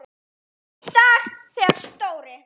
Einn dag þegar Stóri